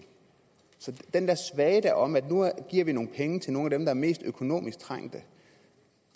så den der svada om at nu giver vi nogle penge til nogle af dem der er mest økonomisk trængte